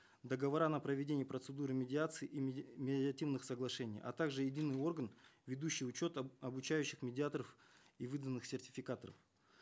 договора на проведение процедуры медиации и медиативных соглашений а также единый орган ведущий учет обучающих медиаторов и выданных сертификатов